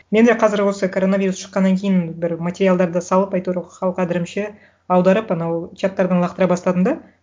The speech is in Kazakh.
мен де қазір осы коронавирус шыққаннан кейін бір материалдарды салып әйтеуір хал қадірімше аударып анау чаттардан лақтыра бастадым да